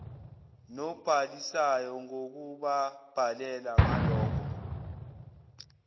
nobhalisayo ngokubabhalela ngaloko